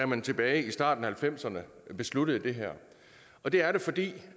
man tilbage i starten af nitten halvfemserne besluttede det her og det er det fordi